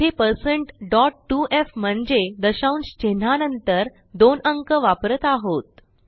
येथे 2f म्हणजे दशांश चिन्हानंतर 2 अंक वापरत आहोत